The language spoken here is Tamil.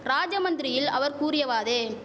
ராஜமந்திரியில் அவர் கூறியவாதே